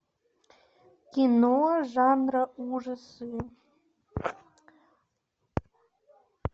кино жанра ужасы